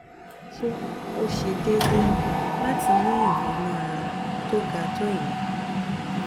sé ó ṣe déédé láti ní ìgbóná tó ga tó ìyẹn?